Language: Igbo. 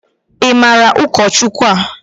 I maara ụkọchukwu a?